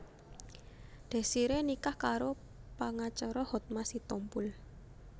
Desiree nikah karo pangacara Hotma Sitompul